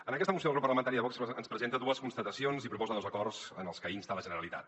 en aquesta moció el grup parlamentari de vox ens presenta dues constatacions i proposa dos acords en els que insta la generalitat